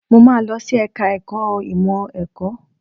Mo máa lọ sí ẹ̀ka ẹ̀kọ́ ìmọ̀ ẹ̀kọ́.